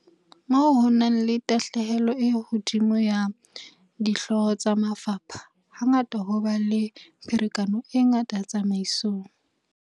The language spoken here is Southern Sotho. Moo ho nang le tahlehelo e hodimo ya dihlooho tsa mafapha, ha ngata ho ba le pherekano e ngata tsamaisong.